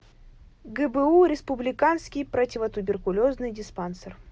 гбу республиканский противотуберкулезный диспансер